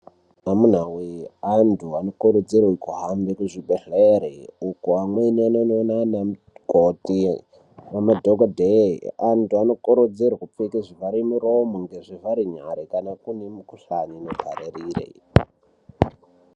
Amunawee antu anokurudzirwe kuhambe kuzvibhehleri uko amweni anonoonana namukoti nemadhogodheye. Antu anokurudzirwe kupfeke zvivhare muromo nezvivhare nyare kana kuine mikuhlane inopararire.